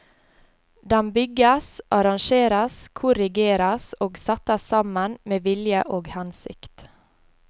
Den bygges, arrangeres, korrigeres og settes sammen med vilje og hensikt.